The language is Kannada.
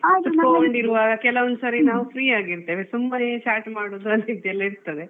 ಕುತ್ಕೊಂಡಿರುವಾಗ ಕೆಲವೊಂದು ಸರಿ ನಾವು free ಆಗಿ ಇರ್ತೇವೆ ತುಂಬಾನೇ chat ಮಾಡುದು ಅಂತಿದ್ದೆಇರ್ತದೆ.